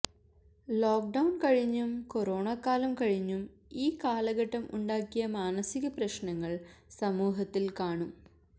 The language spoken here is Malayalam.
ലോക്ക് ഡൌൺ കഴിഞ്ഞും കൊറോണക്കാലം കഴിഞ്ഞും ഈ കാലഘട്ടം ഉണ്ടാക്കിയ മാനസിക പ്രശ്നങ്ങൾ സമൂഹത്തിൽ കാണും